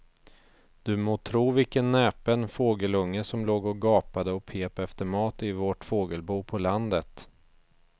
Du må tro vilken näpen fågelunge som låg och gapade och pep efter mat i vårt fågelbo på landet.